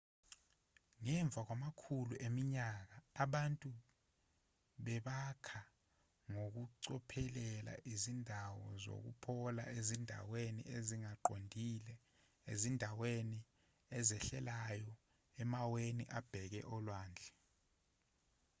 ngemva kwamakhulu eminyaka abantu bebakha ngokucophelela izindawo zokuphola ezindaweni ezingaqondile izindaweni ezehlelayo emaweni abheke olwandle